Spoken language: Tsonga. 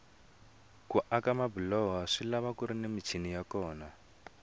ku aka mabiloho swilava kuri ni michini ya kona